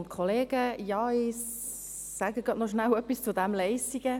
Ich sage gerade noch etwas zu Leissigen.